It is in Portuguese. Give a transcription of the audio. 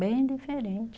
Bem diferente.